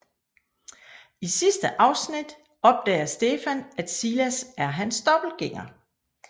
I sidste afsnit opdager Stefan at Silas er hans dobbeltgænger